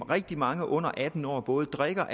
rigtig mange under atten år både drikker